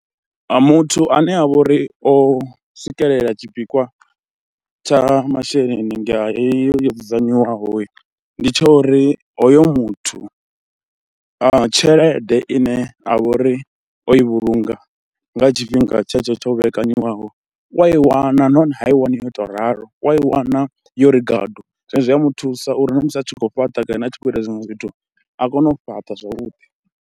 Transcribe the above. Muthu ane a vha uri o swikelela tshipikwa tsha masheleni nga heyo yo dzudzanywaho, ndi tsha uri hoyo muthu a tshelede ine a vha uri o i vhulunga nga tshifhinga tshe tsho tsho vhekanyiwaho, u a i wana nahone ha i wani yo tou ralo, u ya i wana yo ri gadu zwino zwi a muthusa uri na musi a tshi khou fhaṱa kana a tshi khou ita zwiṅwe zwithu a kone u fhaṱa zwavhuḓi.